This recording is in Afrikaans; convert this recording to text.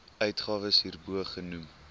uitgawes hierbo genoem